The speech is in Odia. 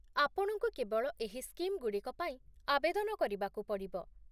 ଆପଣଙ୍କୁ କେବଳ ଏହି ସ୍କିମ୍‌ଗୁଡ଼ିକ ପାଇଁ ଆବେଦନ କରିବାକୁ ପଡ଼ିବ